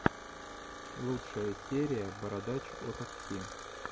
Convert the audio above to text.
лучшая серия бородач о такси